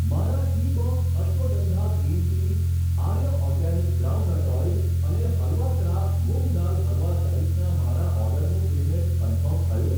મારા Teabox ashwagandha green tea, Arya organic groundnut oil અને halwa craft moong dal halwa સહિતના મારા ઓર્ડરનું પેમેંટ કન્ફર્મ થયું?